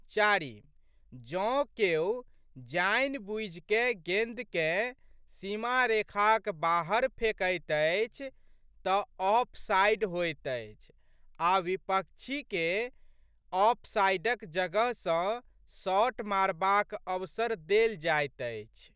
चारि.जौं केओ जानि बूझिकए गेंदकेँ सीमारेखाक बाहर फेकैत अछि तऽ ऑफसाइड होइत अछि आ' विपक्षीके ऑफसाइडक जगह सँ शॉट मारबाक अवसर देल जाइत अछि।